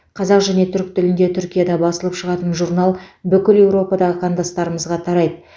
қазақ және түрік тілінде түркияда басылып шығатын журнал бүкіл еуропадағы қандастарымызға тарайды